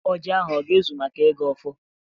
ọjị ahụ aga ezu maka igọ ọfọ?